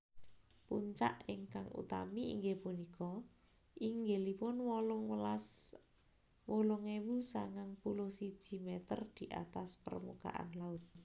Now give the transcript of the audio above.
Puncak ingkang utami inggih punika inggilipun wolung ewu sangang puluh siji meter di atas permukaan laut